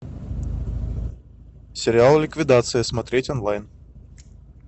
сериал ликвидация смотреть онлайн